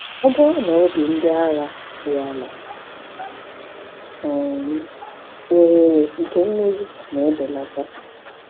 Ọ bụrụ na obi ndị agha dị ala, um ohere nke mmeri na-ebelata.